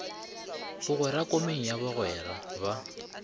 bogwera komeng ya bogwera ba